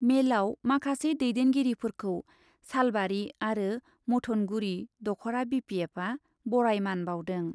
मेलयाव माखासे दैदेनगिरिफोरखौ सालबारि आरो मथनगुरि दख'रा बिपिएफआ बराय मान बाउदों ।